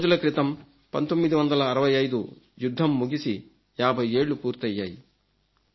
రెండు రోజుల క్రితం 1965 యుద్ధం ముగిసి 50 ఏళ్లు పూర్మయ్యాయి